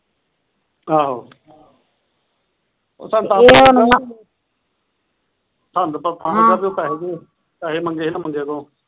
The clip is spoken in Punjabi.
ਆਹੋ ਸਾਨੂੰ ਤਾ ਸਾਨੂੰ ਤਾਂ ਪਤਾ ਲਗਿਆ ਉਹ ਪੈਸੇ ਪੈਸੇ ਮੰਗੇ ਸੀ ਨਾ ਬੰਦਿਆਂ ਤੋਂ।